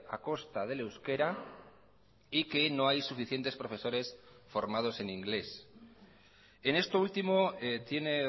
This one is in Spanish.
a costa del euskera y que no hay suficientes profesores formados en inglés en esto último tiene